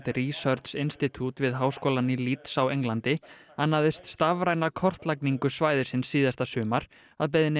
research Institute við háskólann í Leeds á Englandi annaðist stafræna kortlagningu svæðisins síðasta sumar að beiðni